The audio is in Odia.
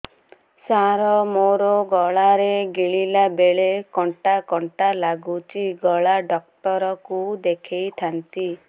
ସାର ମୋ ଗଳା ରେ ଗିଳିଲା ବେଲେ କଣ୍ଟା କଣ୍ଟା ଲାଗୁଛି ଗଳା ଡକ୍ଟର କୁ ଦେଖାଇ ଥାନ୍ତି